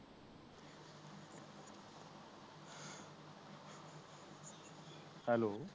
hello